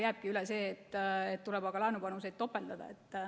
Jääbki üle see, et tuleb aga laenupanuseid topeldada.